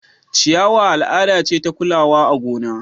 ciyawa al'ada ce ta kulawa a gona